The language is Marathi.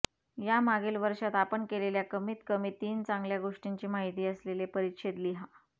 या मागील वर्षात आपण केलेल्या कमीत कमी तीन चांगल्या गोष्टींची माहिती असलेले परिच्छेद लिहा